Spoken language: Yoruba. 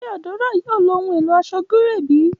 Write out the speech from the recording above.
Ṣe Adaora yoo lo ohun elo aṣọ gíréè bi?